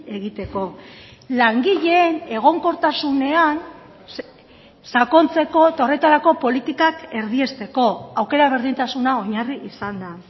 egiteko langileen egonkortasunean sakontzeko eta horretarako politikak erdiesteko aukera berdintasuna oinarri izanda